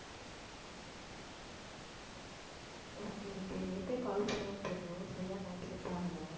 okay okay நேத்தே call பண்ணுவோம்ன்னு இருந்தேன் சரியா time set ஆகலை